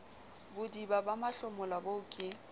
bodiba ba mahlomola boo ke